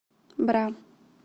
бра